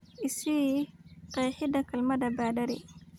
I sii qeexida kelmadda baadari